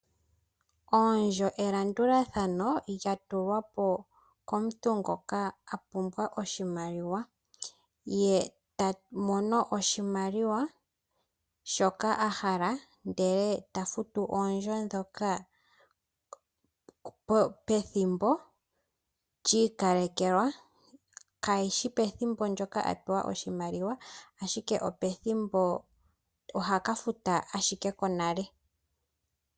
Oondjo elandulathano lya tulwa po komuntu ngoka a pumbwa oshimaliwa. Ye ta mono oshimaliwa shoka a hala eta futu oondjo ndhoka pethimbo li ikalekelwa kayishi pethimbo ndyoka a pewa oshimaliwa, ashike oha ka futa konale.